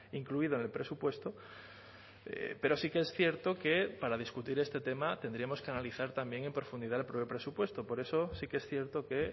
incluido en el presupuesto pero sí que es cierto que para discutir este tema tendríamos que analizar también en profundidad el presupuesto por eso sí que es cierto que